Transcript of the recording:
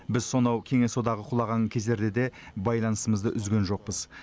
біз сонау кеңес одағы құлаған кездерде де байланысымызды үзген жоқпыз